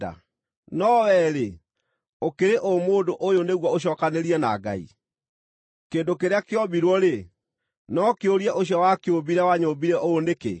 No wee-rĩ, ũkĩrĩ ũ mũndũ ũyũ nĩguo ũcookanĩrie na Ngai? “Kĩndũ kĩrĩa kĩombirwo-rĩ, no kĩũrie ũcio wakĩũmbire, ‘Wanyũmbire ũũ nĩkĩ?’ ”